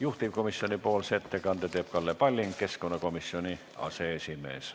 Juhtivkomisjoni ettekande teeb Kalle Palling, keskkonnakomisjoni aseesimees.